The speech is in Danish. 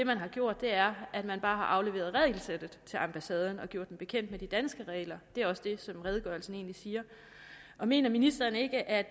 man har gjort er at man bare har afleveret regelsættet til ambassaden og gjort dem bekendt med de danske regler det er egentlig også det som redegørelsen siger mener ministeren ikke at